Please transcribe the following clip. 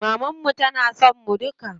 Maman mu tana son mu duka.